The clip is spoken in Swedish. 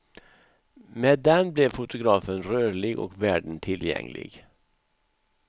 Med den blev fotografen rörlig och världen tillgänglig.